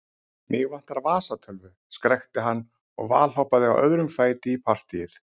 Mig vantar vasatölvu, skrækti hann og valhoppaði á öðrum fæti í partýið.